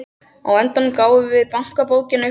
Á endanum gáfum við bankabókina upp á bátinn.